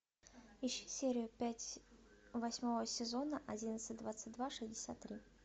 ищи серию пять восьмого сезона одиннадцать двадцать два шестьдесят три